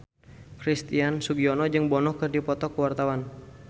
Christian Sugiono jeung Bono keur dipoto ku wartawan